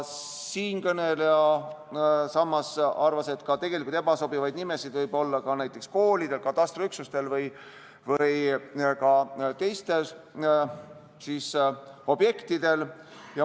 Siinkõneleja samas arvas, et ebasobivaid nimesid võib olla ka koolidel, katastriüksustel või teistel objektidel.